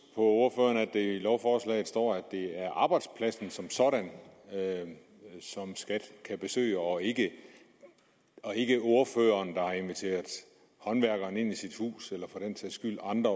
jeg i lovforslaget står at det er arbejdspladsen som sådan som skat kan besøge og ikke og ikke ordføreren der har inviteret håndværkerne ind i sit hus eller for den sags skyld andre